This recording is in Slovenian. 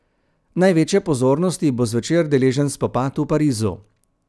Največje pozornosti bo zvečer deležen spopad v Parizu.